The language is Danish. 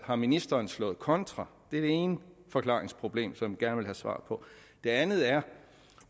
har ministeren slået kontra det er det ene forklaringsproblem som jeg gerne vil have svar på det andet er